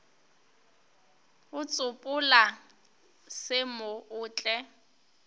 go tsopola se mo otle